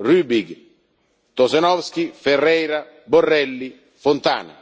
Rübig, Tošenovský, Ferreira, Borrelli, Fontana.